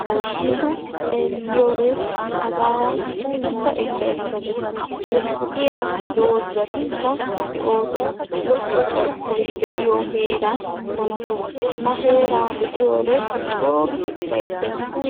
hashshu xeeliyoode hagan utta ekkaekka gees. lo''iya dozatikka de'oosona. lo''o carkkoy de'iyo heera mlatees. ha heera be'iyoode co giidi ufaysses.